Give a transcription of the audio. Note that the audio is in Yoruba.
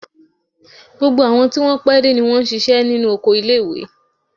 Gbogbo àwọn tí wọn pé dé ni wọ́n ṣíṣe nínú oko ilé-ìwé.